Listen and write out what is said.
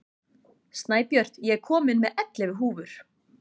Snæbjört, ég kom með ellefu húfur!